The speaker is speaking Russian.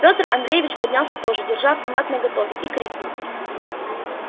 пётр андреевич поднялся тоже держа автомат наготове и крикнул